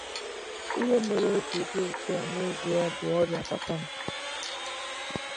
Ihe mere o ji dị otú a nezie bụ ọrịa papa m.